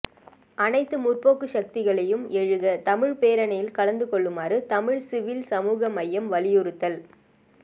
அனைத்து முற்போக்கு சக்திகளையும் எழுக தமிழ் பேரணியில் கலந்து கொள்ளுமாறு தமிழ் சிவில் சமூக அமையம் வலியுறுத்தல்